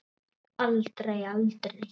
Aldrei, aldrei.